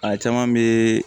A caman bɛ